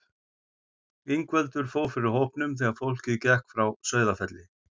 Ingveldur fór fyrir hópnum þegar fólkið gekk frá Sauðafelli.